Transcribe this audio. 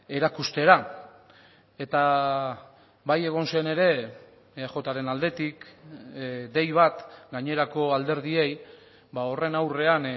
erakustera eta bai egon zen ere eajren aldetik dei bat gainerako alderdiei horren aurrean